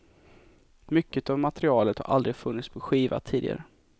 Mycket av materialet har aldrig funnits på skiva tidigare.